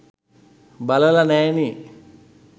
බලල නෑ නේ